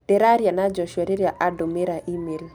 Ndĩraria na Joshua rĩrĩa andũmĩra e-mail